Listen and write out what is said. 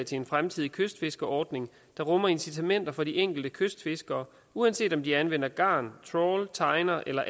til en fremtidig kystfiskerordning der rummer incitamenter for de enkelte kystfiskere uanset om de anvender garn trawl tejner eller